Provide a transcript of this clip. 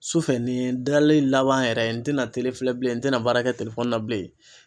Sufɛ nin dalen laban yɛrɛ n tɛna bilen n tɛna baara kɛ na bilen.